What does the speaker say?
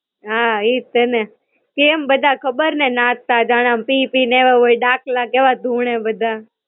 હાં, ઈજ છે ને. કેમ બધા ખબર ને નાચતા? જાણે આમ પી પી ને આયવા હોય ડાકલા કેવા ધૂણે બધા.